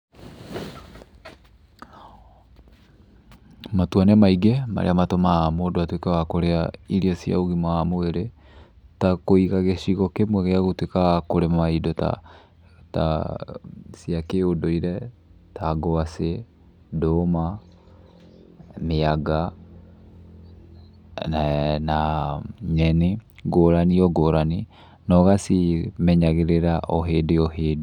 Matua nĩ maingĩ marĩa matũmaga mũndũ atuĩke wa kũrĩa irio cia ũgima wa mwĩrĩ, ta kũiga gĩcigo kĩmwe gĩa gũtuĩka wa kũrĩma indo ta, ta cia kĩũndũire, ta ngwaci, ndũma, mĩanga, na na nyeni ngũrani o ngũrani, na ũgacimenyagĩrĩra o hĩndĩ o hĩndĩ.